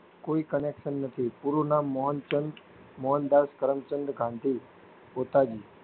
કોઈ connection નથી પૂરું નામ મોહનદ ચંદ મોહનદાસ કરમચંદ ગાંઘી બતાવ્યું